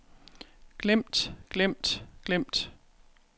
glemt glemt glemt